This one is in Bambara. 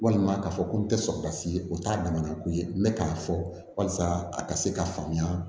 Walima k'a fɔ ko n tɛ sɔn ka se o t'a damana ko ye n bɛ k'a fɔ walasa a ka se ka faamuya